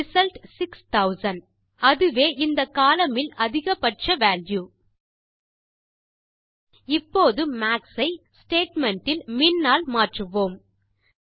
result 6000 அதுவே இந்த column இல் அதிக பட்ச வால்யூ இப்போது மாக்ஸ் ஐ ஸ்டேட்மெண்ட் இல் மின் ஆல் மாற்றுவோம்